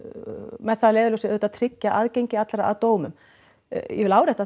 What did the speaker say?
með það að leiðarljósi auðvitað að tryggja aðgengi allra að dómum ég vil árétta